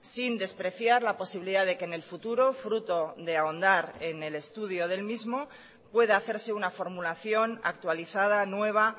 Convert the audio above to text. sin despreciar la posibilidad de que en el futuro fruto de ahondar en el estudio del mismo pueda hacerse una formulación actualizada nueva